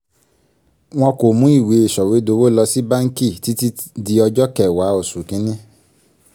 wọn kò mú ìwé sọ̀wédowó lọ sí báǹkì títí di ọjọ́ kẹwàá oṣù kìíní